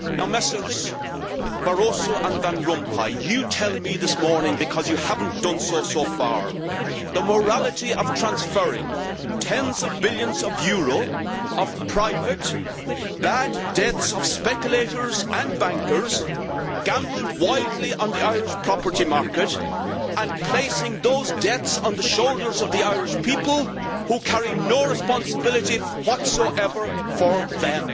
Mr Barroso and Mr Van Rompuy, tell me this morning because you have not done so yet about the morality of transferring tens of billions of euro of private bad debts by speculators and bankers gambled wildly on the Irish property market and placing those debts on the shoulders of the Irish people who carry no responsibility whatsoever for them.